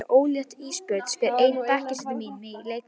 Ertu ólétt Ísbjörg, spyr ein bekkjarsystir mín mig í leikfimi.